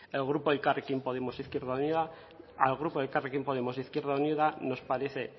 el grupo elkarrekin podemos izquierda unida al grupo elkarrekin podemos izquierda unida nos parece